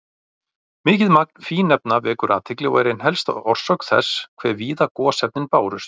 Mikið magn fínefna vekur athygli og er ein helsta orsök þess hve víða gosefnin bárust.